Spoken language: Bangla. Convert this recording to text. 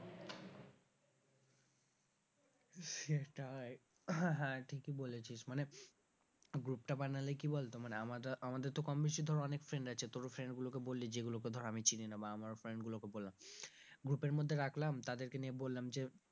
সেটাই ঠিকই বলেছিস মানে group টা বানালে কি বলতো মানে আমরা আমাদের তো কমবেশি ধর অনেক friend আছে তোর ও friend গুলোকে বললি যেগুলোকে ধর আমি চিনি না বা আমার friend গুলোকে বললাম group এর মধ্যে রাখলাম তাদেরকে নিয়ে বললাম যে,